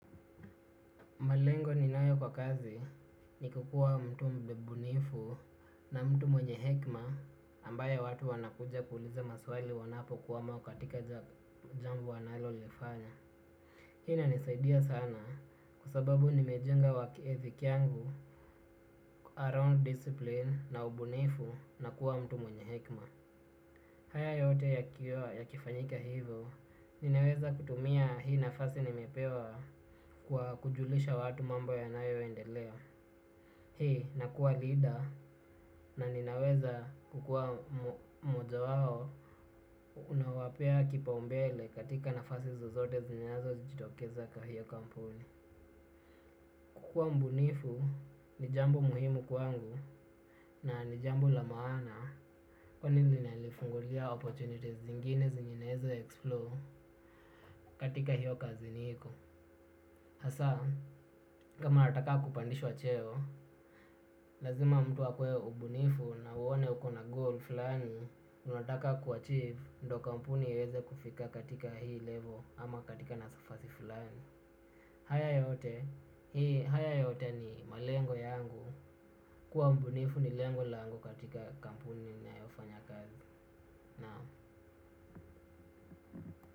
Malengo ninayo kwa kazi ni kukua mtu mbunifu na mtu mwenye hekima ambaye watu wanakuja kuuliza maswali wanapo kwama katika jambo wanalo lifanya. Hii inanisaidia sana kwa sababu nimejenga work ethic yangu around discipline na ubunifu na kuwa mtu mwenye hekima. Haya yote yakifanyika hivyo, ninaweza kutumia hii nafasi nimepewa kwa kujulisha watu mambo yanayo endelea. nakua leader na ninaweza kukua moja wao unawapea kipaumbele katika nafasi zozote zinazo jitokeza kwa hiyo kampuni. Kukua mbunifu ni jambo muhimu kwangu na ni jambo la maana kwani lina nifungulia opportunities zingine zenye naeza explore katika hiyo kazi niko. Hasa, kama nataka kupandishwa cheo, lazima mtu akuwe mbunifu na aone ukona goal fulani, unataka kuachive ndio kampuni iweze kufika katika hii level ama katika nafasi fulani. Haya yote, hii haya yote ni malengo yangu, kuwa mbunifu ni lengo langu katika kampuni ninayo fanya kazi.